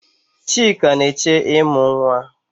Chika na-eche ịmụ nwa.